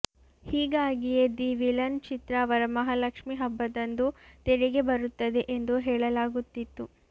ಹೀಗಾಗಿಯೇ the villain ಚಿತ್ರ ವರ ಮಹಾಲಕ್ಷ್ಮಿ ಹಬ್ಬದಂದು ತೆರೆಗೆ ಬರುತ್ತದೆ ಎಂದು ಹೇಳಲಾಗುತ್ತಿತ್ತು